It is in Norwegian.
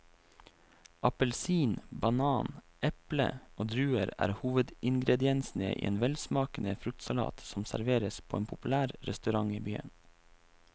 Appelsin, banan, eple og druer er hovedingredienser i en velsmakende fruktsalat som serveres på en populær restaurant i byen.